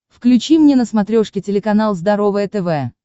включи мне на смотрешке телеканал здоровое тв